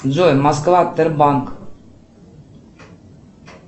джой москва тербанк